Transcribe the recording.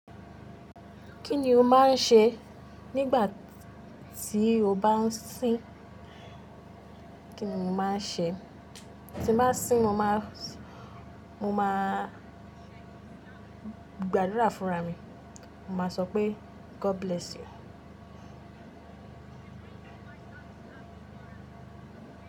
Kí ni o máa ń ṣe nígbà tí o bá n sín? Kí ni mo máa ń ṣe tí n bá sín, mo máa- mo máa gbàdúrà fún ra mi. Mo má sọ pé, God bless you.